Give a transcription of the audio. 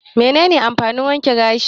Me ne ne amfanin wanke gashi?